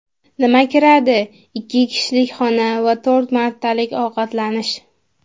Nima kiradi: Ikki kishilik xona va to‘rt martalik ovqatlanish.